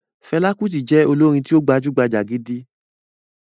Fẹlá Kutì jẹ́ olórin tí ó gbajúgbajà gidi.